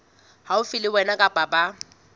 haufi le wena kapa ba